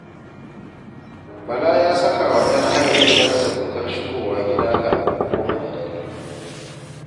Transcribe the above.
Bala ya saka wa ‘yan hayar gidansa dokar shigowa gida kafin goma na dare